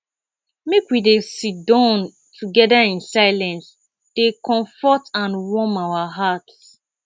make we dey sidon together in silence dey comfort and warm our hearts